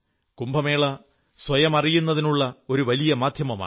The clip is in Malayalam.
കുംഭമേള സ്വയം അറിയുന്നതിനുമുള്ള ഒരു വലിയ മാധ്യമമാണ്